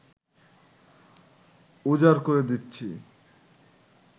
উজাড় করে দিচ্ছি